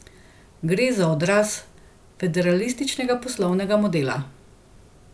Gre za odraz federalističnega poslovnega modela.